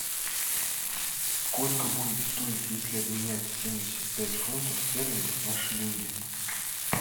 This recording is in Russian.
сколько будет стоить если обменять семьдесят пять фунтов стерлингов на шиллинги